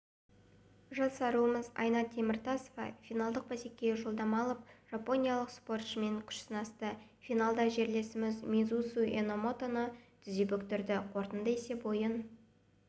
жас аруымыз айна теміртасова финалдық бәсекеге жолдама алып жапониялық спортшымен күш сынасты финалда жерлесімз мисузу енамотоны тізе бүктірді қорытынды есеп ойын